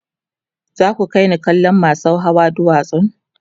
za ku kaini kallon masau Hawa duwatsan